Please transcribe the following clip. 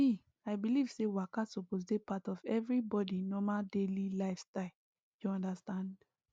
me i believe say waka suppose dey part of everybody normal daily lifestyle you understand